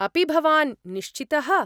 अपि भवान् निश्चितः?